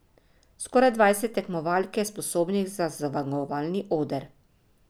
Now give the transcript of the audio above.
Skoraj dvajset tekmovalk je sposobnih za zmagovalni oder.